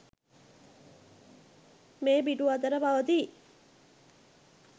මේ පිටු අතර පවතී